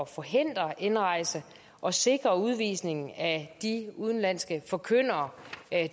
forhindre indrejse og sikre udvisningen af de udenlandske forkyndere